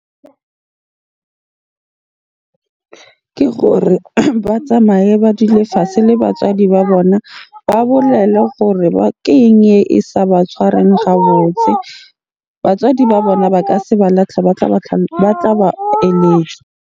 Ke gore ba tsamaye ba dule fatshe le batswadi ba bona. Ba bolela gore keng e sa ba tshwareng ga botse? Batswadi ba bona ba ka se ba latlhe, ba tla ba eletsa.